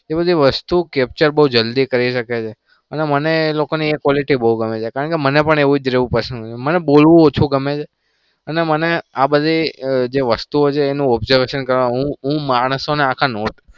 એ બધી વસ્તુ captcha બઉ જલ્દી કરી શકે છે. અને મને એ લોકોની quality બઉ ગમે છે. મને પણ એવું રેવું બઉ ગમે છે. મને બોલવું પણ ઓછું ગમે છે. અને મને આ બધી વસ્તુ ગમે છે. observation કરવા માને ઉહ ઉહ માણસોને આખા not